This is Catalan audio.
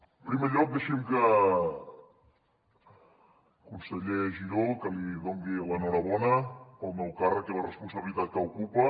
en primer lloc deixi’m conseller giró que li doni l’enhorabona pel nou càrrec i la responsabilitat que ocupa